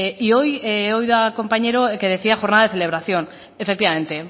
y hoy he oído al compañero que decía jornada de celebración efectivamente